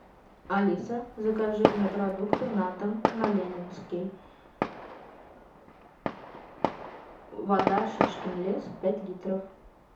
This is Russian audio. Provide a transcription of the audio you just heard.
алиса закажи мне продукты на дом на ленинский вода шишкин лес пять литров